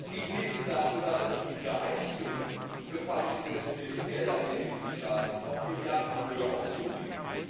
Ich lese darüber, dass die Wiedereinziehungen für falsch investierte Gelder in den Mitgliedstaaten sich auf Milliardenhöhe summieren.